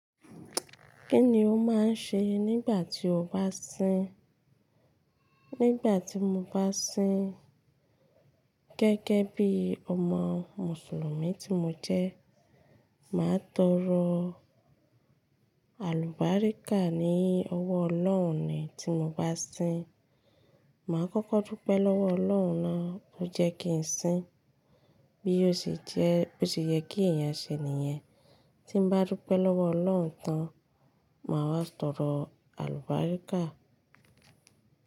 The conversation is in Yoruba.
Kí ni o máa ń ṣe nígbà tí o bá sín? Nígbà tí mo bá sín gẹ́gẹ́ bí ọmọ Mùsùlùmí tí mo jẹ́, màá tọrọ àlùbáríkà ní ọwọ́ Ọlọ́run ni tí mo bá sín. Màá kọ́kọ́ dúpẹ́ lọ́wọ́ Ọlọ́run tó jẹ́ kí n sín, bí ó ṣe jẹ́ boṣe yẹ kí èèyàn ṣe nìyẹn. Tí n bá dúpẹ́ lọ́wọ́ Ọlọ́run tán, màá wá tọrọ àlùbáríkà.